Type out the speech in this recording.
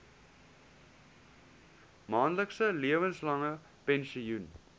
maandelikse lewenslange pensioen